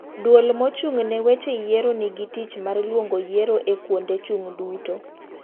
Duol mochung' ne weche yiero nigi tich mar luongo yuiro e kuonde chung' duto.